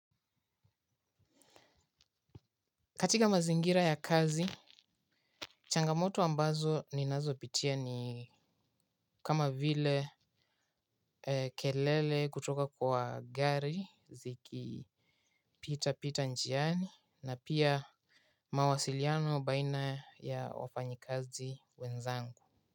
Katika mazingira ya kazi, changamoto ambazo ninazopitia ni kama vile, kelele kutoka kwa gari zikipitapita njiani, na pia mawasiliano baina ya wafanyikazi wenzangu.